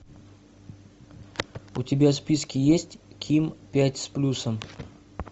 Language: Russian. у тебя в списке есть ким пять с плюсом